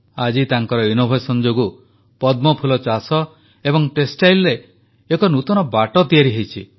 ଆଜି ତାଙ୍କର ନବୋନ୍ମେଷ ଯୋଗୁଁ ପଦ୍ମଫୁଲ ଚାଷ ଏବଂ ଟେକ୍ସଟାଇଲରେ ଏକ ନୂତନ ବାଟ ତିଆରି ହୋଇଛି